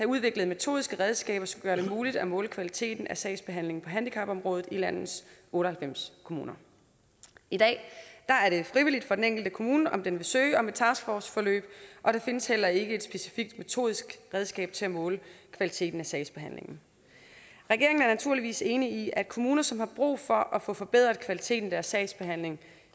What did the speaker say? udviklet metodiske redskaber der skal gøre det muligt at måle kvaliteten af sagsbehandlingen på handicapområdet i landets otte og halvfems kommuner i dag er det frivilligt for den enkelte kommune om den vil søge om et taskforceforløb og der findes heller ikke specifikke metodiske redskaber til at måle kvaliteten af sagsbehandlingen regeringen er naturligvis enig i at kommuner som har brug for at få forbedret kvaliteten af sagsbehandlingen